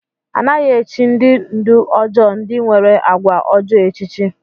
A naghị echì ndị ndú ọjọọ ndị nwere àgwà ọjọọ echichi.